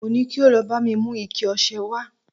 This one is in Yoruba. mo ni kí o lọ ba mi mu ike ọsẹ wa